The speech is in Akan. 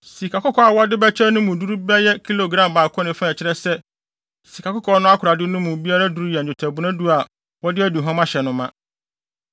Sikakɔkɔɔ a wɔde bɛkyɛe no mu duru yɛɛ bɛyɛ kilogram baako ne fa a ɛkyerɛ sɛ, sikakɔkɔɔ no akorade no mu biara duru yɛ nnwetɛbona du a wɔde aduhuam ahyɛ no ma.